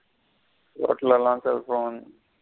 Roat ல எல்லாம் cellphone.